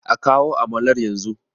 a kawo amalar yanzu!